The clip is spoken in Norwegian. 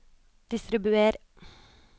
distribuer